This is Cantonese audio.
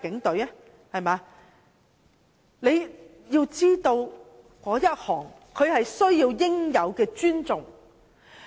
大家知道他們是需要應有的尊重的。